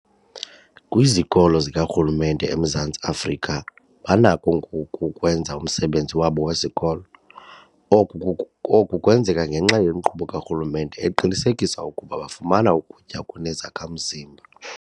Kwizikolo zikarhulumente eMzantsi Afrika banakho ngoku ukwenza umsebenzi wabo wesikolo. Oku oku kwenzeka ngenxa yenkqubo karhulumente eqinisekisa ukuba bafumana ukutya okunezakha-mzimba.